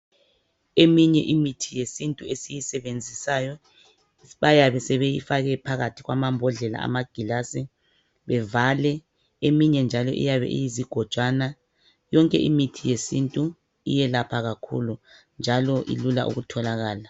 Eminye imithi yesintu esiyisebenzisayo bayabe sebeyifake phakathi kwamambodlela amagilasi bevale eminye njalo iyabe iyizigojane yonke imithi yesintu iyelapha kakhulu njalo ilula ukutholakala